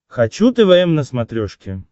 хочу твм на смотрешке